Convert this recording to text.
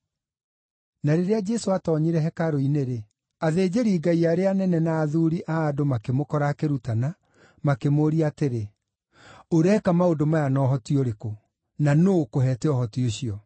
Na rĩrĩa Jesũ aatoonyire hekarũ-inĩ-rĩ, athĩnjĩri-Ngai arĩa anene na athuuri a andũ makĩmũkora akĩrutana, makĩmũũria atĩrĩ, “Ũreka maũndũ maya na ũhoti ũrĩkũ? Na nũũ ũkũheete ũhoti ũcio?”